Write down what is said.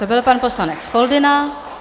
To byl pan poslanec Foldyna.